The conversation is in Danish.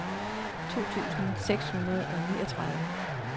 to tusind seks hundrede og niogtredive